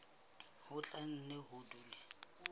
ho tla nne ho dule